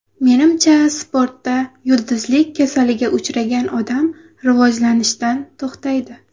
Menimcha, sportda yulduzlik kasaliga uchragan odam rivojlanishdan to‘xtaydi.